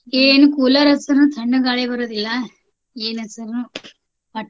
ಏನ್ cooler ಹಚ್ದ್ರೂನೂ ತಣ್ಣಗ್ ಗಾಳಿ ಬರೋದಿಲ್ಲಾ. ಏನ್ ಹಚ್ದ್ರೂನು. ಒಟ್ .